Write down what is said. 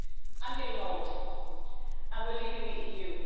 I'm getting old, and we're leaving the EU.